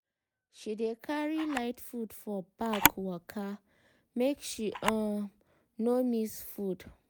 she dey carry light food for bag waka make she um no miss food.